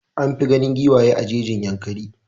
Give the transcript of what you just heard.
An fi ganin giwaye a jejin Yankari.